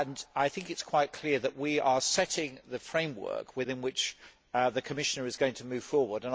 I think it is quite clear that we are setting the framework within which the Commissioner is going to move forward.